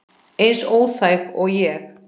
Eins óþæg og ég?